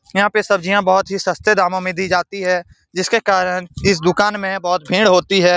यहां पे सब्जियां बहोत ही सस्ते दामों मे दी जाती है जिसके कारन इस दुकान मे बहुत भींड़ होती है।